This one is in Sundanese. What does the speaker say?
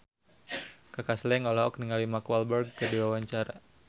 Kaka Slank olohok ningali Mark Walberg keur diwawancara